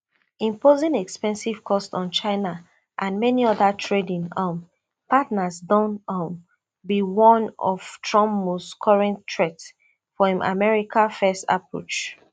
imposing expensive costs on china and many oda trading um partners don um be one of trump most current threats for im america first approach